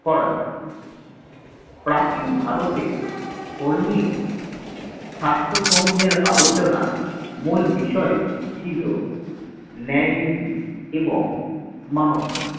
করা যায় প্রাচীন ভারতের ধর্মীয় শাস্ত্র সমূহের আলোচনার মূল বিষয় ছিল ন্যায় নীতি এবং মানব ধর্ম